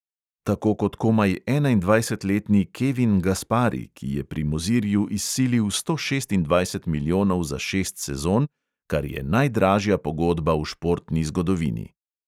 Tako kot komaj enaindvajsetletni kevin gaspari, ki je pri mozirju izsilil sto šestindvajset milijonov za šest sezon, kar je najdražja pogodba v športni zgodovini.